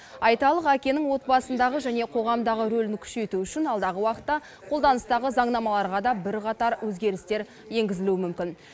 айталық әкенің отбасындағы және қоғамдағы рөлін күшейту үшін алдағы уақытта қолданыстағы заңнамаларға да бірқатар өзгерістер енгізілуі мүмкін